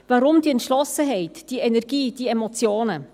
Warum diese Entschlossenheit, diese Energie, diese Emotionen?